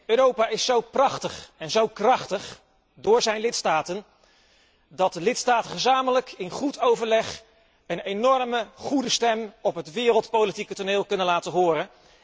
Europa is zo prachtig en zo krachtig door zijn lidstaten, dat de lidstaten gezamenlijk, in goed overleg een zeer goede stem op het wereldpolitieke toneel kunnen laten horen.